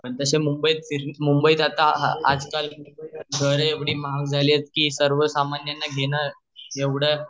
तसाच मुंबई ट आज काल बरे एवढी महाग झाली अआहे कि सर्व सामान्यन न घेण